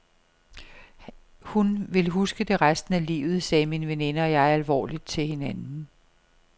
Hun vil huske det resten af livet, sagde min veninde og jeg alvorligt til hinanden.